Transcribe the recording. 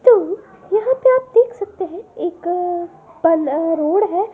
तो यहां पे आप देख सकते हैं एक पल रोड है।